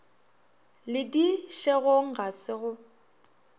le dišegong ga se go